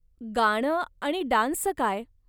गाणं आणि डान्सचं काय?